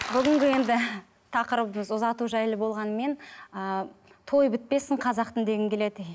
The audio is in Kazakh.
бүгінгі енді тақырыбымыз ұзату жайлы болғанымен ыыы той бітпесін қазақтың дегім келеді